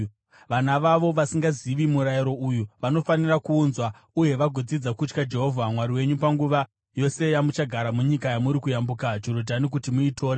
Vana vavo, vasingazivi murayiro uyu, vanofanira kuunzwa uye vagodzidza kutya Jehovha Mwari wenyu panguva yose yamuchagara munyika yamuri kuyambuka Jorodhani kuti muitore.”